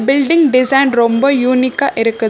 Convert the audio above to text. Building design ரொம்ப யூனிக்கா இருக்கு.